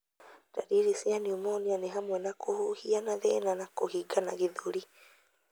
Ndariri cia pneumonia nĩ hamwe na kũhuhia na thĩna na kũhingana gĩthũri.